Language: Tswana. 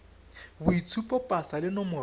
boitshupo pasa le nomoro ya